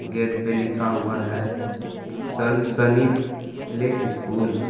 Gate पे लिखा हुआ है सनसनी प्ले स्कूल ।